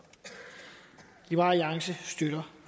liberal alliance støtter